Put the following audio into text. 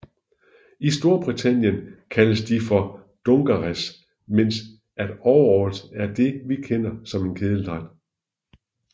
I Storbritannien kaldes de for dungarees mens at overalls er det vi kender som en kedeldragt